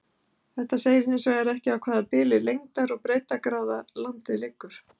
Þetta segir hins vegar ekki á hvaða bili lengdar- og breiddargráða landið liggur.